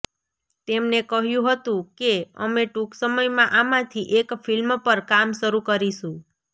તેમને કહ્યું હતું કે અમે ટૂંક સમયમાં આમાંથી એક ફિલ્મ પર કામ શરૂ કરીશું